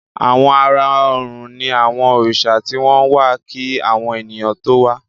Àwọn àrà òrùn ní àwọn Òrìsà tí wón wá kí àwọn ènìyàn tó wá